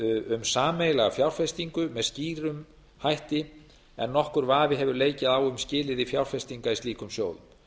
um sameiginlega fjárfestingu með skýrum hætti en nokkur vafi hefur leikið á um skilyrði fjárfestinga í slíkum sjóðum